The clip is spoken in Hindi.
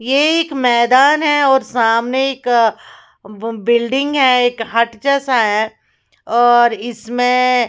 ये एक मैदान है और सामने एक ब बिल्डिंग है एक हट जैसा है और इसमें --